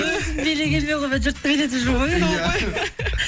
өзім билегенмен қоймай жұртты билетіп жүрмін ғой